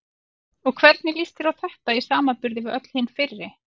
Og hvernig líst þér á þetta í samanburði við öll hin fyrri?